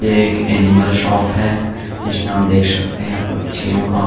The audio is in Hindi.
ये एक एनिमल शॉप है जिसमे आप देख सकते हैं पक्षियों का--